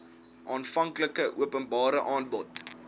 aanvanklike openbare aanbod